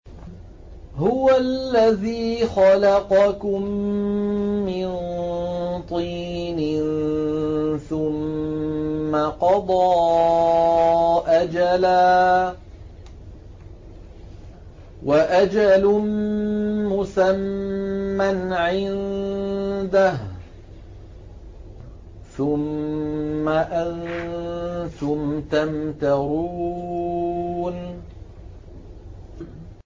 هُوَ الَّذِي خَلَقَكُم مِّن طِينٍ ثُمَّ قَضَىٰ أَجَلًا ۖ وَأَجَلٌ مُّسَمًّى عِندَهُ ۖ ثُمَّ أَنتُمْ تَمْتَرُونَ